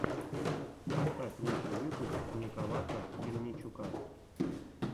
поставь лучший выпуск николака мельничука